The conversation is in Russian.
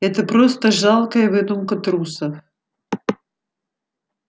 это просто жалкая выдумка трусов